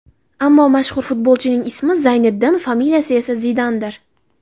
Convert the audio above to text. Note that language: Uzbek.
Ammo mashhur futbolchining ismi Zayniddin, familiyasi esa Zidandir.